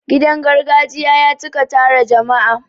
Gidan gargajiya ya cika tara jama'a.